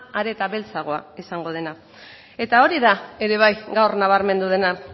are eta beltzagoa izango dela eta hori da ere bai gaur nabarmendu dena